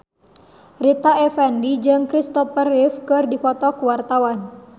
Rita Effendy jeung Kristopher Reeve keur dipoto ku wartawan